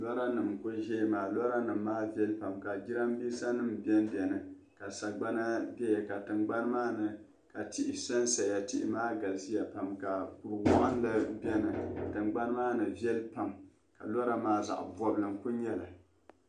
Loranima kuli ʒeya maa loranima maa viɛli pam ka jiramiinsanima ben beni ka sagbana beni ka tiŋgbani maa ni ka tihi san saya tihi maa galisiya pam ka kur'waɣinli beni tiŋgbani maa ni viɛli pam ka lora maa zaɣ'bɔbili n-kuli nyɛli.